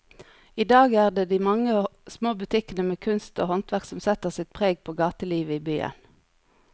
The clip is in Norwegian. I dag er det de mange små butikkene med kunst og håndverk som setter sitt preg på gatelivet i byen.